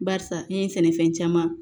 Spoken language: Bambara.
Barisa n ye sɛnɛfɛn caman